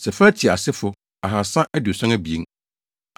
Sefatia asefo tcr2 372 tc1